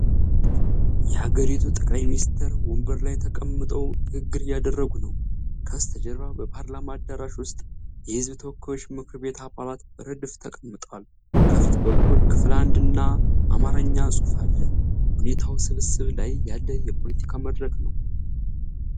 የሀገሪቱ ጠቅላይ ሚኒስተር ወንበር ላይ ተቀምጠው ንግግር እያደረጉ ነው። ከበስተጀርባ በፓርላማ አዳራሽ ውስጥ የሕዝብ ተወካዮች ምክር ቤት አባላት በረድፍ ተቀምጠዋል። ከፊት በኩል 'ክፍል 1' እና የአማርኛ ጽሑፍ አለ። ሁኔታው ስብሰባ ላይ ያለ የፖለቲካ መድረክ ነው።